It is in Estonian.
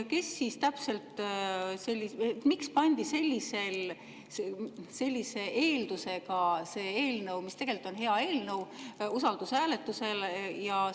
Kes siis täpselt ja miks selle eelnõu, mis tegelikult on hea eelnõu, sellise eeldusega usaldushääletusele?